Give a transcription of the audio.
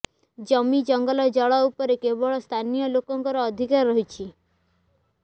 ଜମି ଜଙ୍ଗଲ ଜଳ ଉପରେ କେବଳ ସ୍ଥାନୀୟ ଲୋକଙ୍କ ଅଧିକାର ରହିଛି